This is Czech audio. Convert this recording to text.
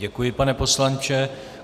Děkuji, pane poslanče.